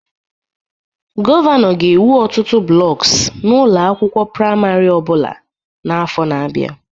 Gọvanọ ga-ewu ọtụtụ blocks na ụlọ akwụkwọ praịmarị ọ bụla n'afọ na-abịa